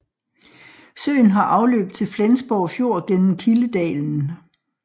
Søen har afløb til Flensborg Fjord gennem Kildedalen